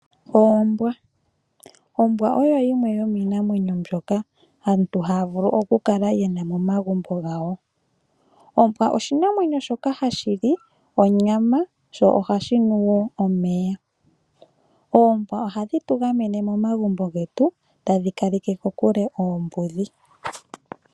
Oombwa, ombwa oyo yimwe yomiinamwenyo mbyoka aantu haya vulu oku kala yena momagumbo gawo. Ombwa oshinamwenyo shoka hashi li onyama sho ohashi nu wo omeya. Oombwa ohadhi tugamene momagumbo getu tadhi kaleke kokule oombudhi.